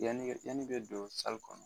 Yanni yanni bɛ don kɔnɔ